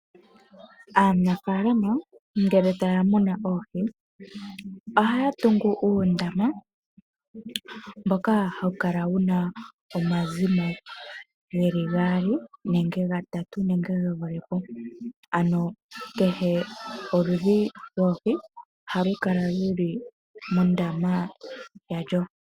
Aanafaalama ngele taya muna oohi, ohaya tungu uundama mboka hawu kala wu na omazimo geli gaali nenge gatatu, nenge ge vule po. Ano kehe oludhi lwoohi ohalu kala luli mondama yalyo.